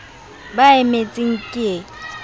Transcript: ba e emetseng ke e